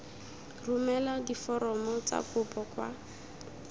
romela diforomo tsa kopo kwa